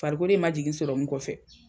Farikolo in ma jigin kɔfɛ.